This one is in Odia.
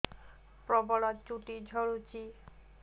ପ୍ରବଳ ଚୁଟି ଝଡୁଛି